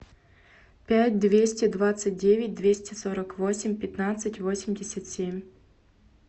пять двести двадцать девять двести сорок восемь пятнадцать восемьдесят семь